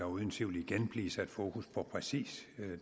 uden tvivl igen blive sat fokus på præcis